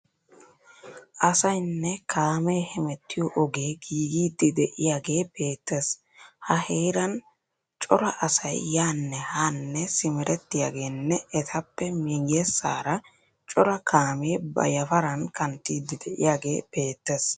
Asayinne kaame hemettiyo ogee giigiiddi de'iyagee beettees. Ha heeran cora asay yaanne haanne simerettiyageenne etappe miyyessaara cora kaamee ba yafaran kanttiiddi de'iyagee beettes.